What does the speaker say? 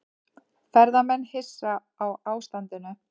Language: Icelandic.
Ferðamenn hissa á ástandinu